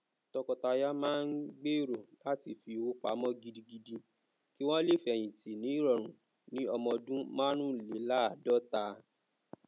tọkọtaya má n gbero láti fi owó pamó gidigidi ki wọn le feyinti ni irọrun ni ọmọ ọdún márùúnlélaadọta